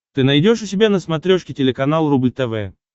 ты найдешь у себя на смотрешке телеканал рубль тв